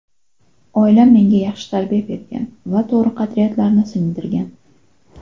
Oilam menga yaxshi tarbiya bergan va to‘g‘ri qadriyatlarni singdirgan.